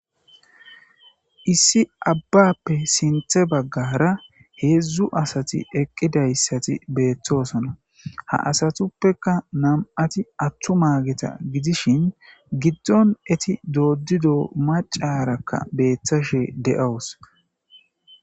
issi abbappe sinthe baggara heedzdzu asati eqqidayssati beettoosona ha asatuppeka nam7ati atthu maageta gidishin giddon eti dooddido macarakka beeththashe de7owus